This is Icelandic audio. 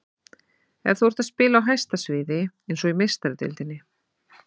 Ef þú ert að spila á hæsta sviði, eins og í Meistaradeildinni.